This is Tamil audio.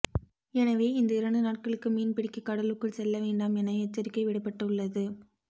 எனவே இந்த இரண்டு நாட்களுக்கு மீன் பிடிக்க கடலுக்குள் செல்ல வேண்டாம் என எச்சரிக்கை விடப்பட்டு உள்ளது